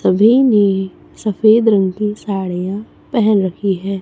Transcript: सभी ने सफेद रंग की साड़ीया पहन रखी है।